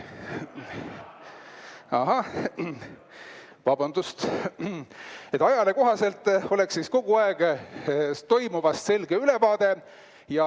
Aga ajale kohaselt oleks teil kogu aeg toimuvast selge ülevaade.